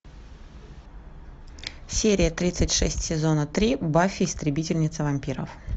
серия тридцать шесть сезона три баффи истребительница вампиров